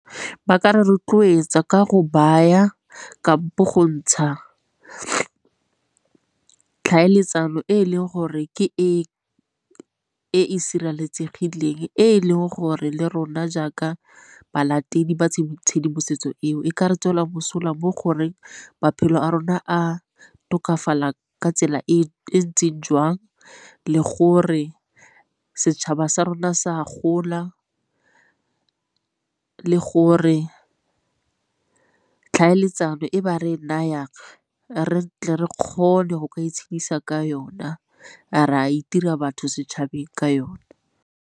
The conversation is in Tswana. Ba ka re rotloetsa ka go baya kampo go ntsha, tlhaeletsano e e leng gore ke e e sireletsegileng e leng gore le rona jaaka balatedi ba tshedimosetso eo e ka re tswela mosola mo goreng maphelo a rona a tokafala ka tsela e ntseng jwang le gore setšhaba sa rona sa a gola le gore tlhaeletsano e ba re nayang re tle re kgone go ka itshedisa ka yona re a itira batho setšhabeng ka yone.